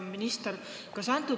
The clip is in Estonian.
Hea minister!